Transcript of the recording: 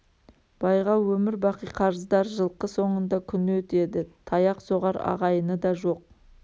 байға өмір бақи қарыздар жылқы соңында күні өтеді таяқ соғар ағайыны да жоқ